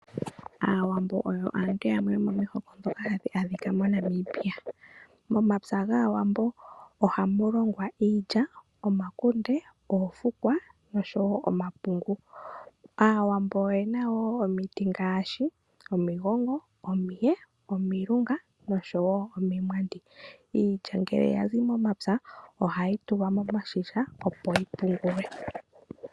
Aawambo oyo aantu yamwe yomomihoko ndhoka ha dhi adhika moNamibia. Momapya gAawambo ohamu longwa iilya, omakunde, oofukwa osho wo omapungu. Aawambo oye na wo omiti ngaashi omigongo, omiye, omilunga osho wo oomwandi. Iilya ngele ya zi momapya ohayi tulwa momashisha opo yi pungulwe.